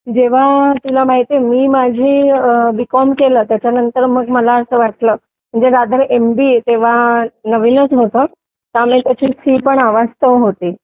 जेव्हा तुला माहितीये मी माझी बीकॉम केलं त्यानंतर मग मला असं वाटलं जर रादर एमबीए तेव्हा नवीनच होतं त्यामध्ये ती हवास पण होती